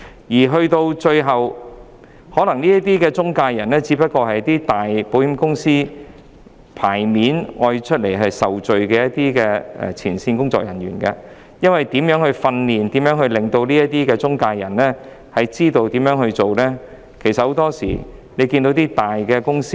這些中介人可能只是一些大型保險公司差派出來接受責備的前線工作人員——因為許多時候，我們也看到一些大公司訓練他們的中介人說一套、做一套的。